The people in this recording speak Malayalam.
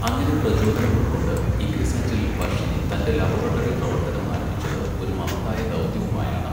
അങ്ങനെ പ്രചോദനം ഉൾക്കൊണ്ട് ഇക്രിസാറ്റിൽ വർഷനെ തന്റെ ലബോറട്ടറി പ്രവർത്തനം ആരംഭിച്ചത് ഒരു മഹത്തായ ദൗത്യവുമായാണ്.